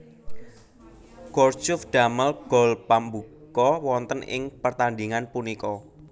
Gourcuff damel gol pambuka wonten ing pertandhingan punika